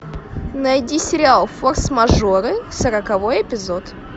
найди сериал форс мажоры сороковой эпизод